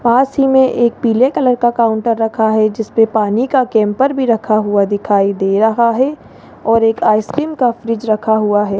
पास ही में एक पीले कलर का काउंटर रखा है जिस पे पानी का कैंपर भी रखा हुआ दिखाई दे रहा है और एक आइसक्रीम का फ्रिज रखा हुआ है।